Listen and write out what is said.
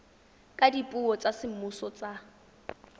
ka dipuo tsa semmuso tsa